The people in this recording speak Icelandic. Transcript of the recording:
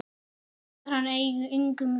Kemur hann engum við?